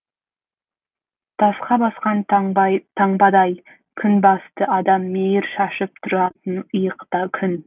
тасқа басқан таңбадай күнбасты адам мейір шашып тұратын иықта күн